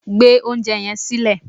Gbé oúnjẹ yẹn silẹ́